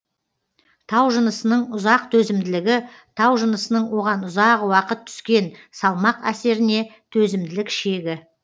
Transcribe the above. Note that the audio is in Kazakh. тау жынысының ұзақ төзімділігі тау жынысының оған ұзақ уақыт түскен салмақ әсеріне төзімділік шегі